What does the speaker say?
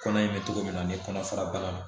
Kɔnɔ in bɛ cogo min na ani kɔnɔ fara bana ma